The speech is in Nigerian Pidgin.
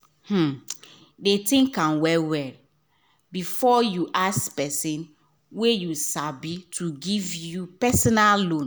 dey think am well well before you ask person wey you sabi to give you personal loan